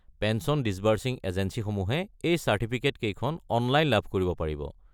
Pension disbursing এজেঞ্চীসমূহে এই চাৰ্টিফিকেটখন অনলাইন লাভ কৰিব পাৰিব।